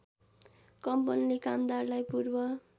कम्पनीले कामदारलाई पूर्व